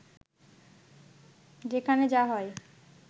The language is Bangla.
সেখানে যা হয়